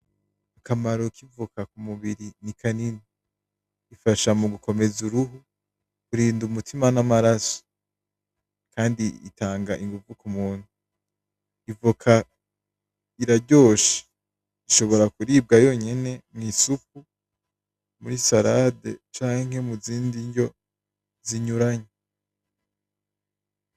Akamaro kivoka ku mubiri ni kanini ifasha mu kuwukomeza irindi umutima n'amaraso kandi itanga inguvu kumuntu, ivoka iraryoshe ishobora kuribwa yonyene mwisupu muri sarade canke muzindi ndya zitandukanye.